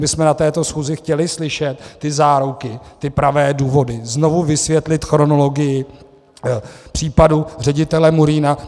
My bychom na této schůzi chtěli slyšet ty záruky, ty pravé důvody, znovu vysvětlit chronologii případu ředitele Murína.